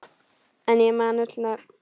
En ég man öll nöfn.